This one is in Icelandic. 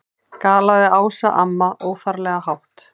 galaði Ása amma, óþarflega hátt.